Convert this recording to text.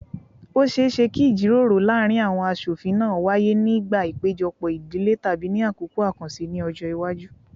Ó ṣeé ṣe kí ìjíròrò láàárín àwọn aṣofin náà wáyé nígbà ìpéjọpọ̀ ìdílé tàbí ní àkókò àkànṣe ní ọjọ́ iwájú